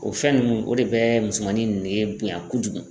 O fɛn nunnu o de bɛ musomanin nege bonya kojugu.